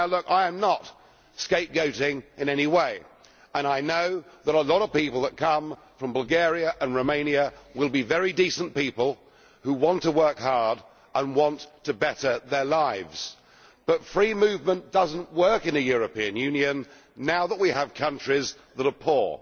I am not scapegoating in any way and I know that a lot of people that come from Bulgaria and Romania will be very decent people who want to work hard and want to better their lives, but free movement does not work in the European Union now that we have countries that are poor.